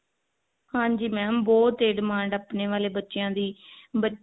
ਹਾਂਜੀ mam ਬਹੁਤ ਤੇਜ਼ demand ਆ ਆਪਣੇ ਵਾਲੇ ਬੱਚਿਆਂ ਦੇ ਬੱਚੇ